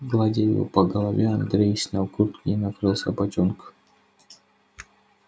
гладя его по голове андрей снял куртку и накрыл собачонку